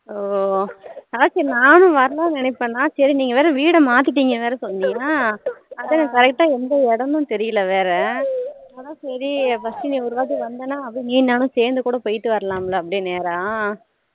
oh அதாச்சும் நானும் வரளானு நினைப்பேன் சரி நீங்க வேற வீடு மாத்திட்டிங்கணு வேற சொன்னயா அதான் correct எந்த இடம் தெரியல வேற அதான் சரி first நீ ஒரு வாட்டி வந்தானா அப்படி நீயும் நானும் சேர்ந்து கூட போய்ட்டு வரலாம்ல அப்படி நேரா